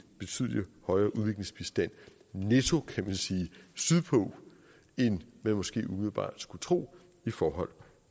betydelig højere udviklingsbistand netto kan man sige sydpå end man måske umiddelbart skulle tro i forhold